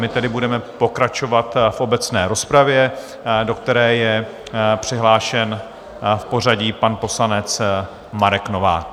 My tedy budeme pokračovat v obecné rozpravě, do které je přihlášen v pořadí pan poslanec Marek Novák.